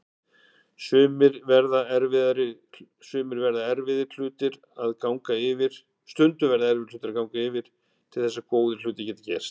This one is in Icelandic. Stundum verða erfiðir hlutir að ganga yfir til þess að góðir hlutir geti gerst.